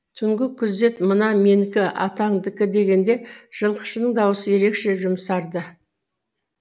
түнгі күзет мына менікі атаңдікі дегенде жылқышының дауысы ерекше жұмсарды